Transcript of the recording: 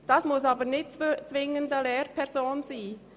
Dies muss aber nicht zwingend eine Lehrperson sein.